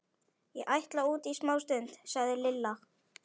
Ég ætla út í smástund, sagði Lilla.